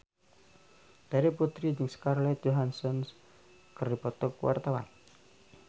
Terry Putri jeung Scarlett Johansson keur dipoto ku wartawan